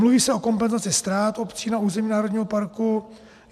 Mluví se o kompenzaci ztrát obcí na území národního parku.